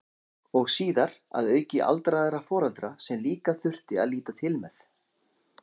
Og síðar að auki aldraða foreldra sem líka þurfti að líta til með.